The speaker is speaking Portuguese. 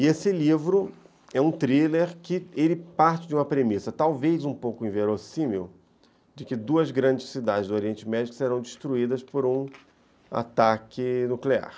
E esse livro é um thriller que parte de uma premissa, talvez um pouco inverossímil, de que duas grandes cidades do Oriente Médio serão destruídas por um ataque nuclear.